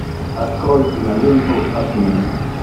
открой киноленту обмен